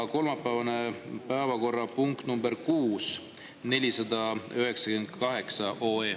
Ja kolmapäevane kuues päevakorrapunkt ehk 498 OE.